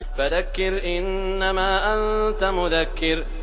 فَذَكِّرْ إِنَّمَا أَنتَ مُذَكِّرٌ